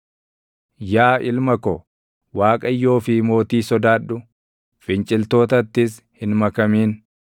Yaa ilma ko, Waaqayyoo fi mootii sodaadhu; finciltootattis hin makamin;